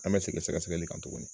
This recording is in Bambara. An bɛ segin sɛgɛsɛgɛli kan tuguni.